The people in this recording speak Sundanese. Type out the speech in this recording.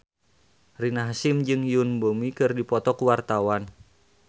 Rina Hasyim jeung Yoon Bomi keur dipoto ku wartawan